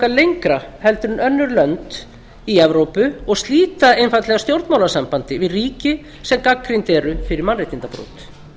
lengra heldur en önnur lönd í evrópu og slíta einfaldlega stjórnmálasambandi við ríki sem gagnrýnd eru fyrir mannréttindabrot